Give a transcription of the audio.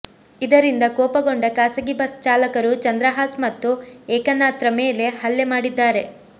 ಇದರಿಂದ ಕೋಪಗೊಂಡ ಖಾಸಗಿ ಬಸ್ ಚಾಲಕರು ಚಂದ್ರಹಾಸ್ ಮತ್ತು ಏಕನಾಥ್ರ ಮೇಲೆ ಹಲ್ಲೆ ಮಾಡಿದ್ದಾರೆ